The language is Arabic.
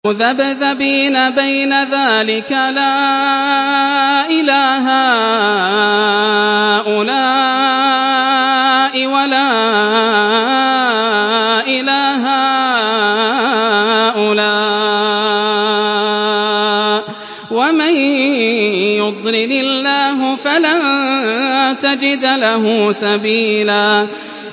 مُّذَبْذَبِينَ بَيْنَ ذَٰلِكَ لَا إِلَىٰ هَٰؤُلَاءِ وَلَا إِلَىٰ هَٰؤُلَاءِ ۚ وَمَن يُضْلِلِ اللَّهُ فَلَن تَجِدَ لَهُ سَبِيلًا